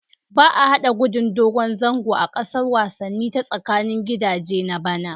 Ba a hada Gudun dogon zango a gasar wasanni ta tsakanin gidaje na bana